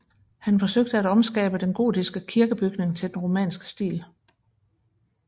Han forsøgte om at omskabe den gotiske kirkebygning til den romanske stil